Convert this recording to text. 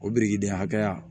O birikiden hakɛya